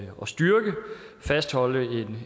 fastholde det